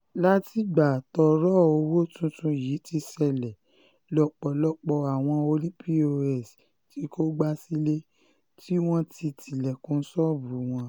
látìgbà tọ́rọ̀ owó um tuntun yìí ti ṣẹlẹ̀ lọ́pọ̀lọpọ̀ àwọn ọ̀nì pọ́s um ti kógbá sílé tí wọ́n ti tilẹ̀kùn ṣọ́ọ̀bù wọn